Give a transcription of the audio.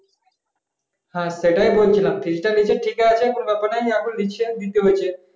হ্যাঁ সেটাই বলছিলাম fees নিচ্ছে ঠিক আছে কোন ব্যাপার নাই। এখন নিচে দিতে হচ্ছে